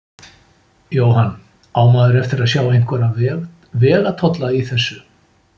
Jóhann: Á maður eftir sjá einhverja vegatolla í þessu?